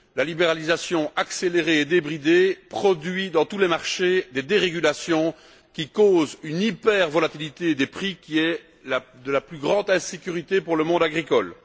La libéralisation accélérée et débridée produit dans tous les marchés des dérégulations qui causent une hyper volatilité des prix qui est de la plus grande insécurité pour le monde agricole.